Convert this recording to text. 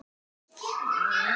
Sólveig var kona margra vídda.